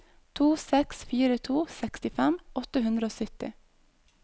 to seks fire to sekstifem åtte hundre og sytti